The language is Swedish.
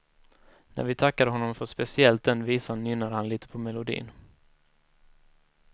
När vi tackade honom för speciellt den visan nynnade han lite på melodin.